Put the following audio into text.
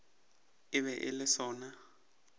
e be e le sona